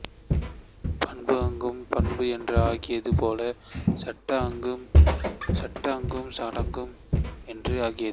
பண்புஅம்கு பாங்கு என்று ஆகியது போல சட்டஅம்கு சடங்கு என்று ஆகியது